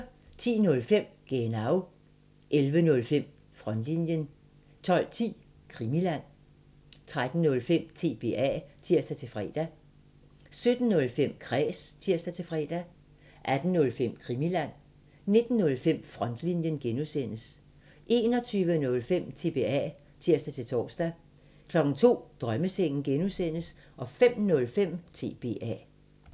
10:05: Genau 11:05: Frontlinjen 12:10: Krimiland 13:05: TBA (tir-fre) 17:05: Kræs (tir-fre) 18:05: Krimiland 19:05: Frontlinjen (G) 21:05: TBA (tir-tor) 02:00: Drømmesengen (G) 05:05: TBA